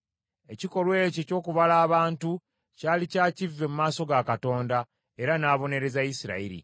Ekikolwa ekyo ky’okubala abantu, kyali kya kivve mu maaso ga Katonda era n’abonereza Isirayiri.